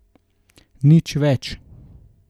Nič več.